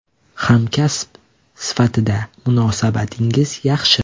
Hamkasb sifatida munosabatlarimiz yaxshi.